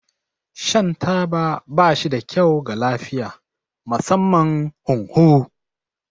Shan taba ba shi da kyau ga lafiya, musamman hunhu.